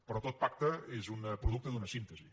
però tot pacte és producte d’una síntesi